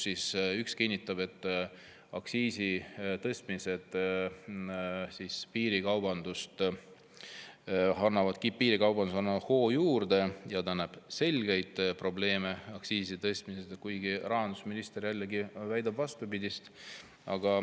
Üks kinnitab, et aktsiisitõstmised annavad piirikaubandusele hoogu juurde, ja näeb selgeid probleeme aktsiiside tõstmises, kuigi rahandusminister jällegi väidab vastupidist.